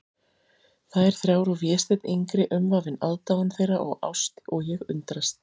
Þær þrjár og Vésteinn yngri umvafinn aðdáun þeirra og ást, og ég undrast.